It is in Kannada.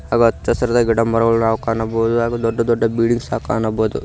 ಹಾಗೂ ಹಚ್ಚಹಸಿರಾದ ಗಿಡಮರಗಳನ್ನು ನಾವು ಕಾಣಬಹುದು ಹಾಗೂ ದೊಡ್ಡ ದೊಡ್ಡ ಬಿಲ್ಡಿಂಗ್ಸ್ ಕಾಣಬಹುದು.